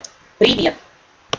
привет